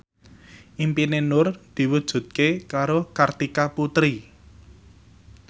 impine Nur diwujudke karo Kartika Putri